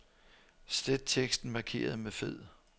Slet teksten markeret med fed.